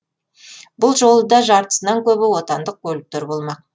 бұл жолы да жартысынан көбі отандық көліктер болмақ